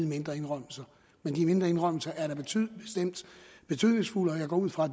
mindre indrømmelser men de mindre indrømmelser er da betydningsfulde og jeg går ud fra